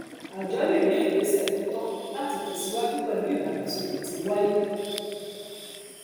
àjọ lè gbé ìgbésẹ tó tọ láti tẹsíwájú pẹlú ìdàgbàsókè tí ń wáyé